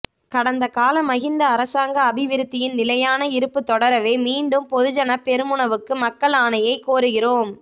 கடந்த கால மஹிந்த அரசாங்க அபிவிருத்தியின் நிலையான இருப்பு தொடரவே மீண்டும் பொதுஜன பெரமுனவுக்கு மக்கள் ஆணையை கோருகிறோம்